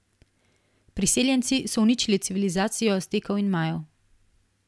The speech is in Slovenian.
Priseljenci so uničili civilizacijo Aztekov in Majev.